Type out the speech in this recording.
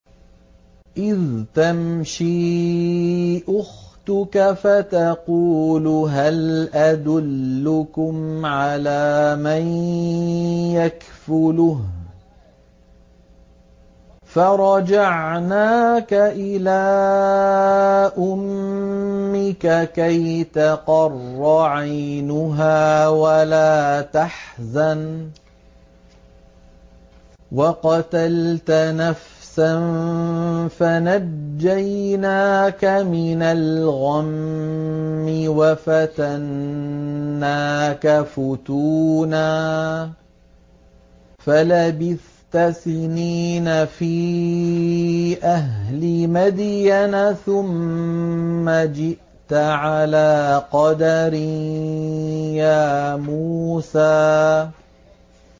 إِذْ تَمْشِي أُخْتُكَ فَتَقُولُ هَلْ أَدُلُّكُمْ عَلَىٰ مَن يَكْفُلُهُ ۖ فَرَجَعْنَاكَ إِلَىٰ أُمِّكَ كَيْ تَقَرَّ عَيْنُهَا وَلَا تَحْزَنَ ۚ وَقَتَلْتَ نَفْسًا فَنَجَّيْنَاكَ مِنَ الْغَمِّ وَفَتَنَّاكَ فُتُونًا ۚ فَلَبِثْتَ سِنِينَ فِي أَهْلِ مَدْيَنَ ثُمَّ جِئْتَ عَلَىٰ قَدَرٍ يَا مُوسَىٰ